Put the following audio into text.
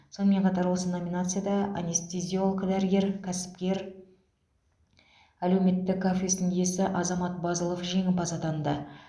сонымен қатар осы номинацияда анестезиолог дәрігер кәсіпкер әлеуметтік кафесінің иесі азамат базылов жеңімпаз атанды